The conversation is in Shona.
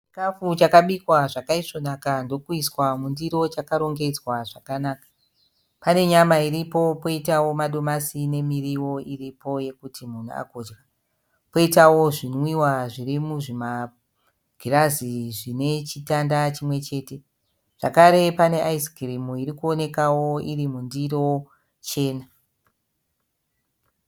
Chikafu chakabikwa zvakaisvonaka ndokuiswa mundiro chakarongedzwa zvakanaka. Pane nyama iripo, poitawo madomasi nemiriwo iripo yekuti munhu agodya. Poitawo zvinwiwa zvirimuzvimagirazi zvine chitanda chimwechete. Zvakare pane aizikirimu irikuonekawo irimundiro chena.